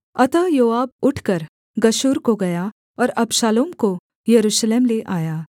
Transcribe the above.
अतः योआब उठकर गशूर को गया और अबशालोम को यरूशलेम ले आया